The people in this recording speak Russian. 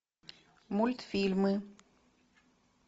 мультфильмы